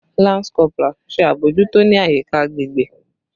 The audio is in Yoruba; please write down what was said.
Lance Corporal! Ṣe abojuto ni ayika agbegbe